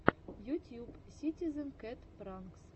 ютьюб ситизен кэт пранкс